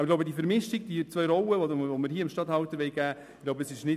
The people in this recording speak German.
Aus meiner Sicht ist es nicht richtig, dem Regierungsstatthalter hier zwei Rollen zu geben.